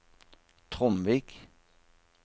Tromvik